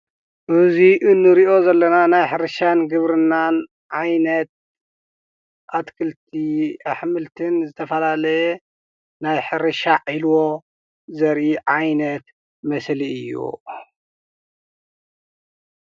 እዚ እንሪኦ ዘለና ናይ ሕርሻን ግብርናን ዓይነት አትክልቲን አሕምልቲን ዝተፈላለየ ናይ ሕርሻ ዒልቦ ዘርኢ ዓይነት ምስሊ እዩ፡፡